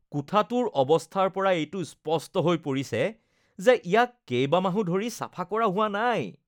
কোঠাটোৰ অৱস্থাৰ পৰা এইটো স্পষ্ট হৈ পৰিছে যে ইয়াক কেইবামাহো ধৰি চাফা কৰা হোৱা নাই।